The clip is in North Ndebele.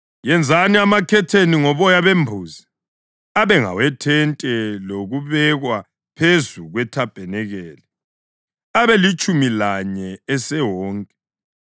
Yenzani amakhetheni ngoboya bembuzi abe ngawethente lokubekwa phezu kwethabanikeli, abelitshumi lanye esewonke.